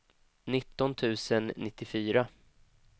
nitton tusen nittiofyra